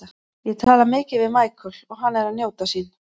Ég tala mikið við Michael og hann er að njóta sín.